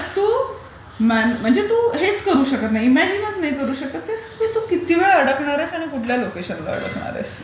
पण पुण्यात तू हेच करू शकत नाहीस. म्हणजे इमयाजिनच करू शकत नाहीस. की तू किती वेळ अडकणार, कुठल्या लोकेशन वर अडकणार आहेस.